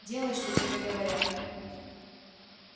делай что тебе говорят